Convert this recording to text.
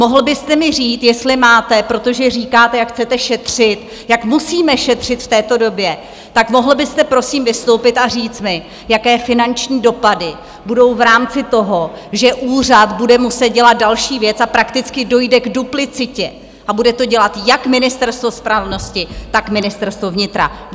Mohl byste mi říct, jestli máte, protože říkáte, jak chcete šetřit, jak musíme šetřit v této době, tak mohl byste prosím vystoupit a říct mi, jaké finanční dopady budou v rámci toho, že úřad bude muset dělat další věc a prakticky dojde k duplicitě a bude to dělat jak Ministerstvo spravedlnosti, tak Ministerstvo vnitra?